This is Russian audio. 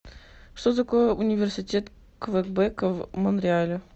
что такое университет квебека в монреале